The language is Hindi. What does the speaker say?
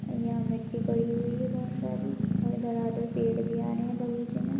यहा मिट्टी पड़ी हुई है बहुत सारी और इधर धडाधड पेड़ भी आ रहे है बगीचे मे --